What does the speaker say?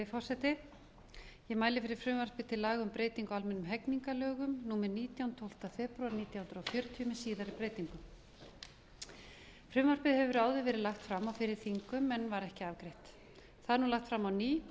forseti ég mæli fyrir frumvarpi til laga um breyting á almennum hegningarlögum númer nítján tólfta febrúar nítján hundruð fjörutíu með síðari breytingum frumvarpið hefur áður verið lagt fram á fyrri þingum en var ekki afgreitt það er nú lagt fram á ný og